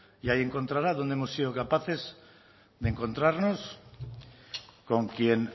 y hay encontrará donde hemos sido capaces de encontrarnos con quien